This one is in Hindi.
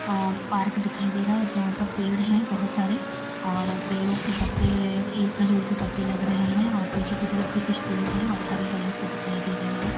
अ पार्क दिखाई दे रहा है और यहाँ पर पेड़ हैं बहोत सारे और पेड़ों के पत्तें ये खजूर के पत्तें लग रहे हैं और पीछे की तरफ भी कुछ पेड़ हैं और हरे-हरे से दिखाई दे रहे हैं।